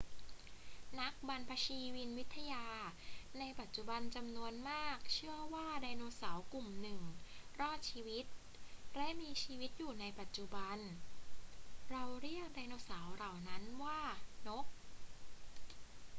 นักบรรพชีวินวิทยาในปัจจุบันจำนวนมากเชื่อว่าไดโนเสาร์กลุ่มหนึ่งรอดชีวิตและมีชีวิตอยู่ในปัจจุบัน เราเรียกไดโนเสาร์เหล่านั้นว่านก